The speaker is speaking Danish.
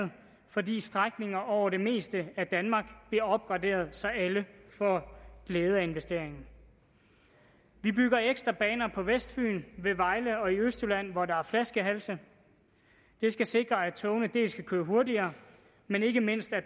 fordi strækninger over det meste af danmark bliver opgraderet så alle får glæde af investeringerne vi bygger ekstra baner på vestfyn ved vejle og i østjylland hvor der er flaskehalse det skal sikre at togene kan køre hurtigere men ikke mindst at